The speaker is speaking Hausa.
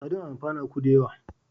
Sardin a amfanuka da yawa.